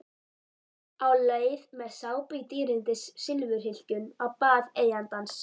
Á leið með sápu í dýrindis silfurhylkjum á bað eigandans.